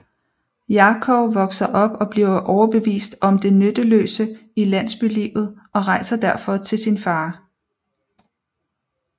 Jakov vokser op og bliver overbevist om det nytteløse i landsbylivet og rejser derfor til sin far